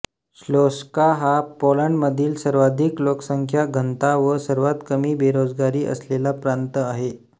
श्लोंस्का हा पोलंडमधील सर्वाधिक लोकसंख्या घनता व सर्वात कमी बेरोजगारी असलेला प्रांत आहे